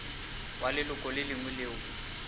wa leloko le lengwe leo